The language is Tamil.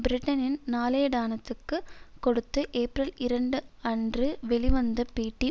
பிரிட்டனின் நாளேடானத்துக்கு கொடுத்து ஏப்ரல்இரண்டு அன்று வெளிவந்த பேட்டி